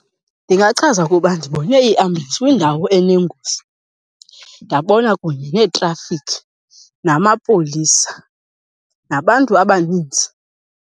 Ndingachaza ukuba ndibone iiambulensi kwindawo enengozi, ndabona kunye neetrafikhi namapolisa nabantu abaninzi.